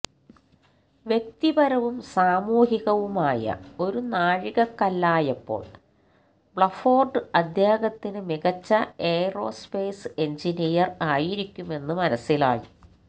വ്യക്തിപരവും സാമൂഹികവുമായ ഒരു നാഴികക്കല്ലായപ്പോൾ ബ്ലഫോർഡ് അദ്ദേഹത്തിന് മികച്ച എയറോസ്പേസ് എൻജിനീയർ ആയിരിക്കുമെന്നു മനസിലായി